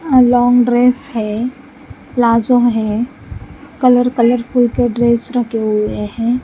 Log dress है palazzo है colour - colourful के ड्रेस रखे हुए हैं।